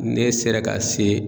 Ne sera ka se